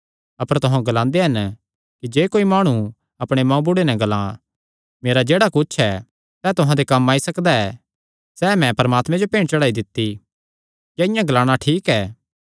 अपर तुहां ग्लांदे हन कि जे कोई माणु अपणे मांऊबुढ़े नैं ग्लां मेरा जेह्ड़ा कुच्छ ऐ सैह़ तुहां दे कम्म आई सकदा ऐ सैह़ मैं परमात्मे जो भेंट चढ़ाई दित्ती क्या इआं ग्लाणा ठीक ऐ